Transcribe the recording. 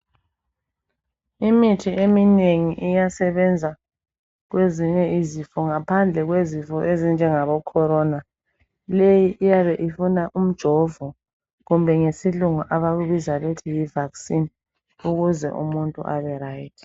Imithi eminengi iyasebenza kwezinye izifo ngaphandle kwezifo ezinjengabo corona leyi iyabe ifuna umjovo kumbe ngesilungu abakubiza bethi yi vaccine ukuze umuntu aberyt.